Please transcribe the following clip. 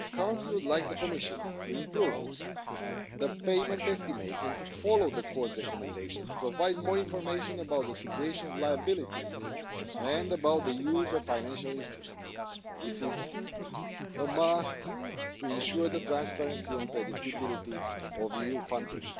The Council would like the Commission to improve the payment estimates and to follow the Court's recommendation to provide more information about the situation of liabilities and about the use of financial instruments. This is an absolute must to ensure the transparency and predictability of EU funding.